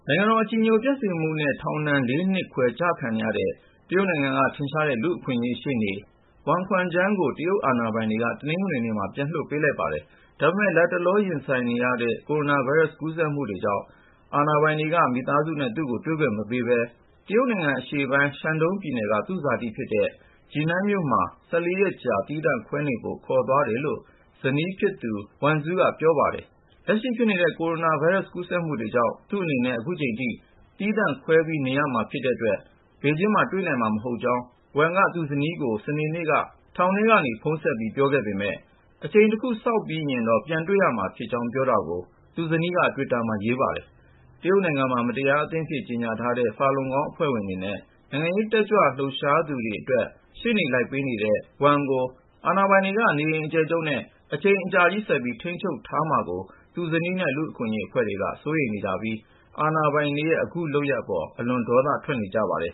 ိုင်ငံတော်အကြည်ညိုပျက်စေမှုနဲ့ ထောင်ဒဏ် ၄ နှစ်ခွဲ ချခံခဲ့ရတဲ့ တရုတ်နိုင်ငံက ထင်ရှားတဲ့ လူ့အခွင့်အရေးရှေ့နေ Wang Quanzhang ကို တရုတ်အာဏာပိုင်တွေက တနင်္ဂနွေနေ့မှာ ပြန်လွှတ်ပေးလိုက်ပါတယ်။ ဒါပေမယ့် လတ်တလော ရင်ဆိုင်နေရတဲ့ ကိုရိုနာဗိုင်းရပ်စ် ကူးစက်မှုတွေကြောင့် အာဏာပိုင်တွေက မိသားစုနဲ့ သူ့ကို တွေ့ခွင့်မပေးဘဲ တရုတ်နိုင်ငံအရှေ့ပိုင်း ရှန်ဒုန်းပြည်နယ်က သူ့ဇာတိဖြစ်တဲ့ Jinan မြို့မှာ ၁၄ ရက်ကြာ သီးသန့်ခွဲနေဖို့ ခေါ်သွားတယ်လို့ ဇနီးဖြစ်သူ Li Wenzu က ပြောပါတယ်။ လက်ရှိဖြစ်နေတဲ့ ကိုရိုနာဗိုင်းရပ်စ် ကူးစက်မှုတွေကြောင့် သူ့အနေနဲ့ အချိန်တခုအထိ သီးသန့်ခွဲပြီး နေရမှာဖြစ်တဲ့အတွက် ဘေဂျင်းမှာတွေ့နိုင်မှာ မဟုတ်ကြောင်း Wang က သူ့ဇနီးကို စနေနေ့က ထောင်ထဲကနေ ဖုန်းဆက်ပြီး ပြောခဲ့ပေမယ့် အချိန်တခု စောင့်ပြီးရင်တော့ ပြန်တွေ့ရမှာဖြစ်ကြောင်း ပြောတာကို သူ့ဇနီးက တွစ်တာမှာ ရေးပါတယ်။ တရုတ်နိုင်ငံမှာ မတရားအသင်းအဖြစ် ကြေညာထားတဲ့ Falun Gong အဖွဲ့ဝင်တွေနဲ့ နိုင်ငံရေး တက်ကြွလှုပ်ရှားသူတွေအတွက် ရှေ့နေလိုက်ပေးခဲ့တဲ့ Wang Quanzhang ကို အာဏာပိုင်တွေက နေအိမ်အကျယ်ချုပ်နဲ့ အချိန်ကြာ ဆက်ပြီး ထိန်းချုပ်ထားလိုက်မှာကို သူ့ဇနီးနဲ့ လူ့အခွင့်အရေးအဖွဲ့တွေက စိုးရိမ်နေပြီး အာဏာပိုင်တွေရဲ့ အခုလုပ်ရပ်အပေါ် အလွန်ပဲ ဒေါသထွက်နေကြပါတယ်